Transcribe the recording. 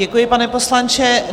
Děkuji, pane poslanče.